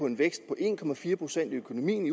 en vækst på en procent i